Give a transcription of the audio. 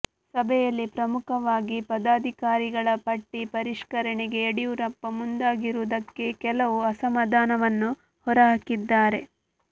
ಸಭೆಯಲ್ಲಿ ಪ್ರಮುಖವಾಗಿ ಪದಾಧಿಕಾರಿಗಳ ಪಟ್ಟಿ ಪರಿಷ್ಕರಣೆಗೆ ಯಡಿಯೂರಪ್ಪ ಮುಂದಾಗದಿರುವುದಕ್ಕೆ ಕೆಲವರು ಅಸಮಾಧಾನವನ್ನು ಹೊರಹಾಕಿದ್ದಾರೆ